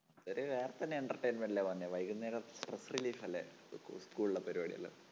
അത് വേറെ തന്നെ entertainment അല്ലേ മോനെ. വൈകുന്നേരം stress relief അല്ലേ? school school ലെ പരിപാടികള്